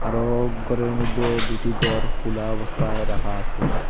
আরও ঘরের মইধ্যে দুটি ঘর খোলা অবস্থায় রাখা আছে।